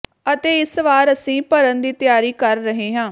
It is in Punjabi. ਅਤੇ ਇਸ ਵਾਰ ਅਸੀਂ ਭਰਨ ਦੀ ਤਿਆਰੀ ਕਰ ਰਹੇ ਹਾਂ